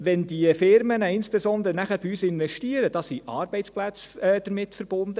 Wenn die Unternehmen nachher bei uns investieren, sind damit Arbeitsplätze verbunden;